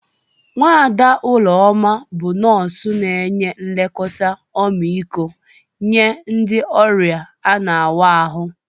Nwada Uloma bụ nọọsụ na-enye nlekọta ọmịiko nye ndị ọrịa ana-awa ahụ.